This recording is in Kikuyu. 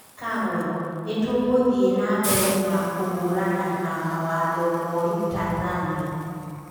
Kagwe: Nitũgũthie nambere na kũhũrana na mawatho moru Tanzania